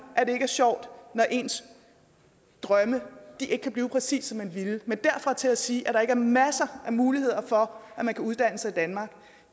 at det ikke er sjovt når ens drømme ikke kan blive præcis som man ville men at sige at der ikke er masser af muligheder for at man kan uddanne sig i danmark